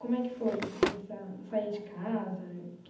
Como é que foi essa sair de casa?